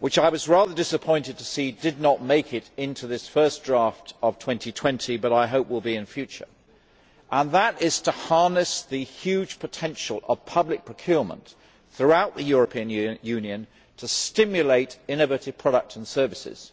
which I was rather disappointed to see did not make it into this first draft of 2020, but I hope will be there in future and that is to harness the huge potential of public procurement, throughout the European Union, to stimulate innovative products and services.